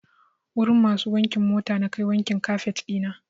Wurin masu wankin mota nakai wankin kafet ɗina.